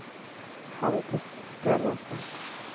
Halldis Stenersen